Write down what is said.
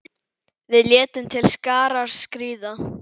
Við létum til skarar skríða.